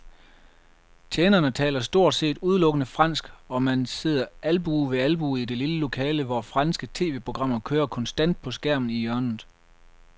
Tjenerne taler stort set udelukkende fransk, og man sidder albue ved albue i det lille lokale, hvor franske tv-programmer kører konstant på skærmen i hjørnet.